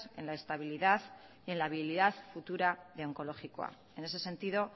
en la estabilidad y en la habilidad futura de onkologikoa en ese sentido